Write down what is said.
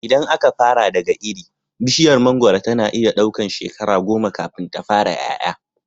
Idan aka fara daga iri, bishiyar mangoro tana iya ɗaukan shekara goma kafin ta fara ƴaƴa.